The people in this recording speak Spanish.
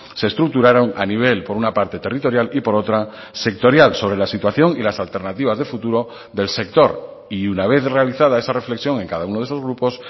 se estructuraron a nivel por una parte territorial y por otra sectorial sobre la situación y las alternativas de futuro del sector y una vez realizada esa reflexión en cada uno de esos grupos